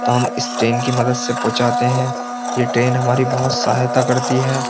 तो हम इस ट्रेन की मदद से पहुंचाते हैं ये ट्रेन हमारी बहुत सहायता करती है।